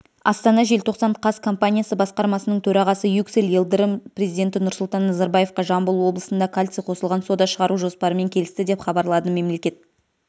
астана желтоқсан қаз компаниясы басқармасының төрағасы юксель йылдырым президенті нұрсұлтан назарбаевқа жамбыл облысында кальций қосылған сода шығару жоспарымен келісті деп хабарлады мемлекет